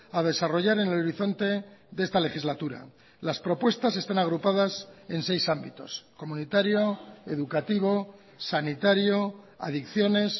a desarrollar en el horizonte de esta legislatura las propuestas están agrupadas en seis ámbitos comunitario educativo sanitario adicciones